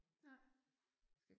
Nej